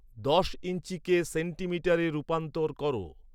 দশ ইঞ্চি কে সেন্টিমিটারে রুপান্তর করো